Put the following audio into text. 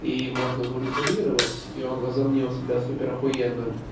и можно манипулировать и он возомнил себя супер ахуенным